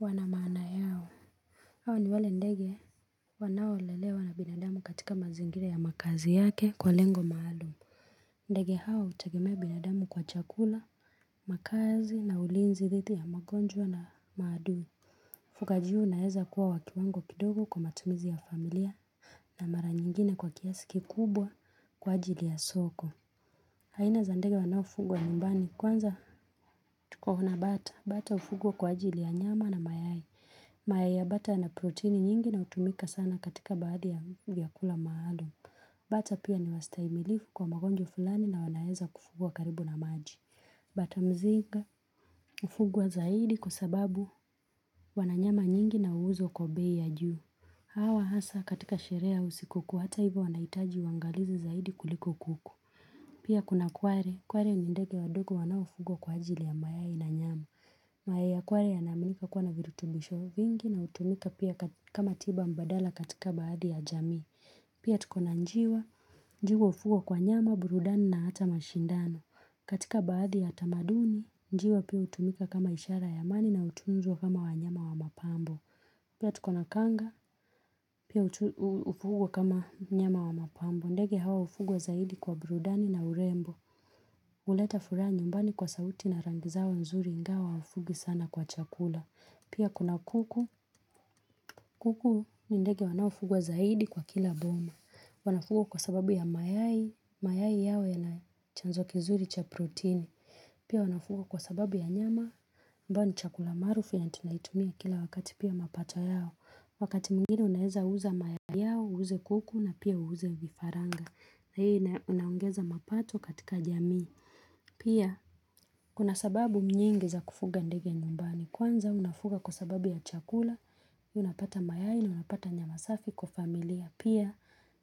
wanamana yao. Hawa ni wale ndege wanao lelewa na binadamu katika mazingira ya makazi yake kwa lengo maalu. Ndege hao hutegemea binadamu kwa chakula, makazi na ulinzi dhithi ya magonjwa na madui. Ufuganji huu unaweza kuwa wakiwango kidogo kwa matumizi ya familia na mara nyingine kwa kiasiki kubwa kwa ajili ya soko. Haina za ndege wanaoufuguwa nyumbani. Kwanza tuko na bata. Bata hufuguwa kwa ajili ya nyama na mayai. Mayai ya bata na proteini nyingi na utumika sana katika baadhi ya vyakula maalum. Bata pia ni wastahimilifu kwa magonjwa fulani na wanaeza kufugwa karibu na maji. Bata mzinga hufuguwa zaidi kwa sababu wananyama nyingi na uuzo kwa bei ya juu. Hawa hasa katika sherehe ya siku kuu hata hivo wanaitaji uwangalizi zaidi kuliko kuku Pia kuna kware, kware ni ndege wadogo wanaofugwa kwa ajili ya mayai na nyama mayai ya kware ya naamika kuwa na virutubisho vingi na utumika pia kama tiba mbadala katika baadhi ya jamii Pia tuko na njiwa, njiwa hufugwa kwa nyama, burudani na hata mashindano katika baadhi ya tamaduni, njiwa pia utumika kama ishara ya amani na hutunzwa kama wanyama wa mapambo Pia tukona kanga, pia hufugwa kama mnyama wa mapambo, ndege hawa hufugwa zaidi kwa brudani na urembo. Huleta furaha nyumbani kwa sauti na rangi zao nzuri, ingawa hufugi sana kwa chakula. Pia kuna kuku, kuku ni ndege wanaofugwa zaidi kwa kila boma. Wanafugwa kwa sababu ya mayai, mayai yao yana chanzo kizuri cha proteini. Pia wanafuguwa kwa sababu ya nyama, ambao ni chakula maarufu ya tunaitumia kila wakati pia mapato yao. Wakati mwingine unaeza uza mayai yao, uze kuku na pia uze vifaranga na hii inaongeza mapato katika jamii Pia kuna sababu nyingi za kufuga ndege nyumbani Kwanza unafuga kwa sababu ya chakula, unapata maya na unapata nyama safi kwa familia Pia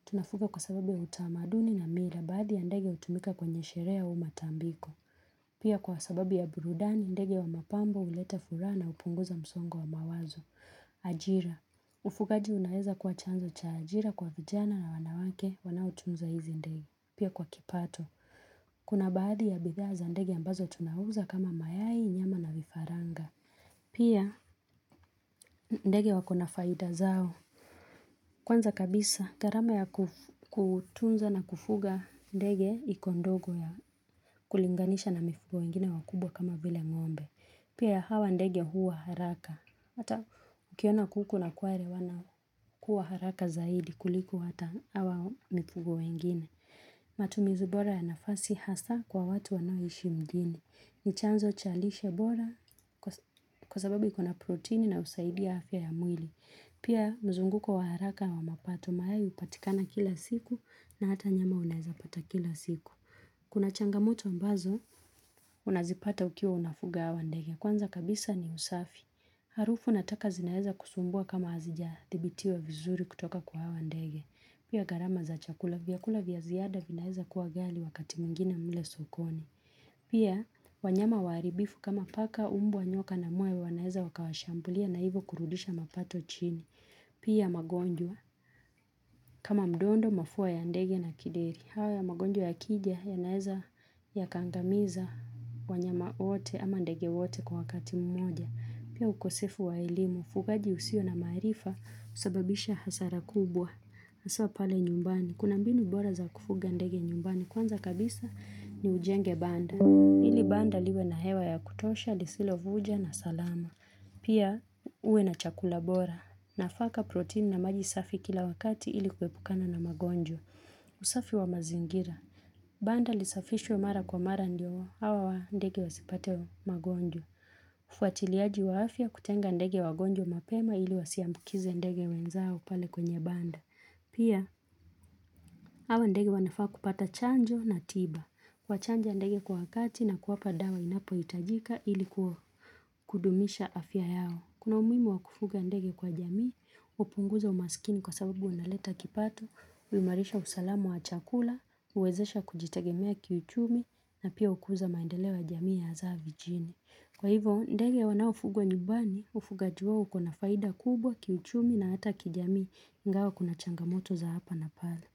tunafuga kwa sababu ya utamaduni na mila Baadhi ya ndege hutumika kwenye sherehe au matambiko Pia kwa sababi ya burudani, ndege wa mapambo, huleta furaha na hupunguza msongo wa mawazo ajira Ufugaji unaeza kwa chanzo cha ajira kwa vijana na wanawake wanao tunza hizi ndegi Pia kwa kipato Kuna baadhi ya bidhaa za ndege ambazo tuna uza kama mayai nyama na vifaranga Pia ndege wako na faida zao Kwanza kabisa gharama ya kutunza na kufuga ndege iko ndogo ya kulinganisha na mifugo wengine wakubwa kama vile ngombe Pia hawa ndege huwa haraka Hata ukiona kuku na kware wana kuwa haraka zaidi kuliku hata hawa mifugo wengine. Matumizu bora ya nafasi hasa kwa watu wanaoishi mjini. Ni chanzo cha lishe bora kwa sababu ikona protein inayosaidia afya ya mwili. Pia mzunguko wa haraka wa mapato maayai hupatikana kila siku na hata nyama unaeza pata kila siku. Kuna changamoto ambazo unazipata ukiwa unafuga wa ndege. Kwanza kabisa ni usafi. Harufu nataka zinaeza kusumbua kama hazijaa thibitiwa vizuri kutoka kwa hawa ndege. Pia garama za chakula vyakula vya ziada vinaeza kuwa ghali wakati mwingine mle sokoni. Pia wanyama waribifu kama paka umbwa nyoka na mwewe wanaeza wakawashambulia na hivo kurudisha mapato chini. Pia magonjwa. Kama mdondo mafua ya ndege na kideri. Haya magonjwa ya kija yanaeza ya kangamiza wanyama wote ama ndege wote kwa wakati mmoja. Pia ukosefu wa elimu. Ufugaji usio na maarifa husababisha hasara kubwa. Haswa pale nyumbani. Kuna mbinu bora za kufuga ndege nyumbani. Kwanza kabisa ni ujenge banda. Hili banda liwe na hewa ya kutosha, lisilo vuja na salama. Pia uwe na chakula bora nafaka protein na maji safi kila wakati ili kuepukana na magonjwa. Usafi wa mazingira. Banda lisafishwe mara kwa mara ndio hawa wa ndege wasipate magonjwa. Fuatiliaji wa afya kutenga ndege wangonjwa mapema ili wasiambukize ndege wenzao pale kwenye banda. Pia hawa ndege wanafaa kupata chanjo na tiba. Wachanja ndege kwa wakati na kuwapa dawa inapo hitajika ili kudumisha afya yao. Kuna umuhimu wakufuga ndege kwa jamii, hupunguza umasikini kwa sababu wanaleta kipato, huimarisha usalamu wa chakula, huwezesha kujitagemea kiuchumi na pia hukuza maendeleo ya jamii ya hasa vijini. Kwa hivyo ndege waonafugwa nyumbani, ufugaji wao ukona faida kubwa kiuchumi na hata kijamii ingawa kuna changamoto za hapa na pale.